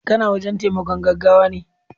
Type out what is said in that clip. kana wurin taimakon gaggawane